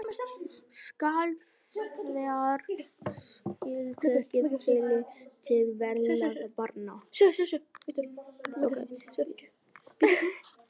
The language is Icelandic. Skal þar ekki síst tekið tillit til velferðar barna.